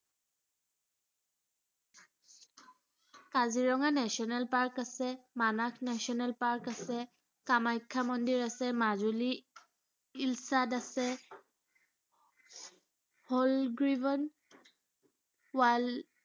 Kaziranga national park আছে, Manas national park আছে, কামাখ্যা মন্দিৰ আছে। মাজুলী আছে হল গ্ৰীবন wild